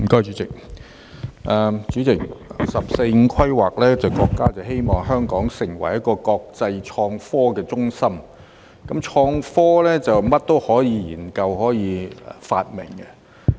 主席，根據"十四五"規劃，國家希望香港成為一個國際創科中心，"創科"可以研究和發明任何東西。